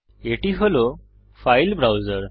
এটি হল ফাইল ব্রাউসের